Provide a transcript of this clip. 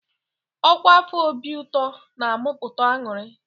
Ọkwa afọ Obi Ụtọ na-amụpụta ańụrị.